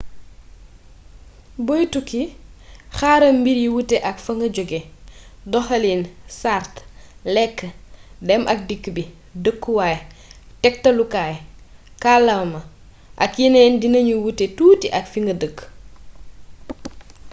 boy tukki xaaral mbir yi wute ak fa nga jóge . doxalin sart lekk dem ak dikk bi dëkkuwaay tektalukaay kàllaama ak yeneen dinañu wuute tuuti ak fi nga dëkk